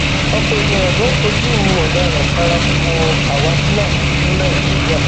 ọpọ èèyàn ló ń fojú ọdaràn paraku wo àwa fúlàní ní nàìjíra